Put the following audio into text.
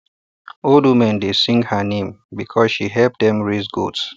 old women dey sing her name because she help dem raise goats